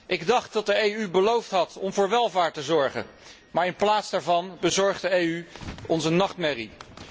Ik dacht dat de EU beloofd had om voor welvaart te zorgen, maar in plaats daarvan bezorgt de EU ons een nachtmerrie.